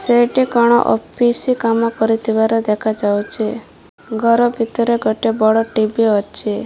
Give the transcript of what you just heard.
ସେଇଠି କ'ଣ ଅଫିସ୍ କାମ କରୁଥିବାର ଦେଖା ଯାଉଚି। ଘର ଭିତରେ ଗୋଟେ ବଡ଼ ଟି_ଭି ଅଛି।